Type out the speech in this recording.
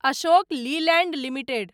Ashok Leyland limited